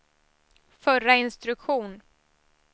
förra instruktion